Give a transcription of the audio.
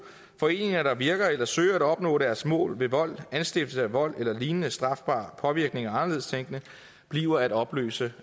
foreninger der virker eller søger at opnå deres mål ved vold anstiftelse af vold eller lignende strafbar påvirkning af anderledes tænkende bliver at opløse